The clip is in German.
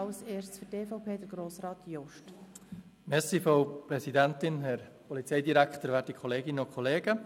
Ich erteile zuerst Grossrat Jost für die EVP das Wort.